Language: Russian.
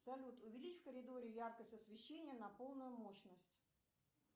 салют увеличь в коридоре яркость освещения на полную мощность